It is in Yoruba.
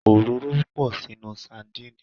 Òróró pọ̀ nínu sadíìnì.